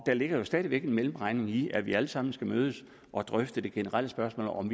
der ligger jo stadig væk en mellemregning i og vi alle sammen skal mødes og drøfte det generelle spørgsmål